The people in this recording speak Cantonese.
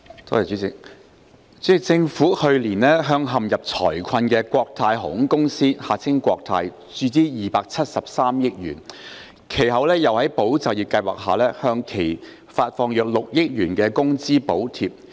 主席，政府去年向陷入財困的國泰航空有限公司注資273億元，其後又在"保就業"計劃下向其發放約6億元工資補貼。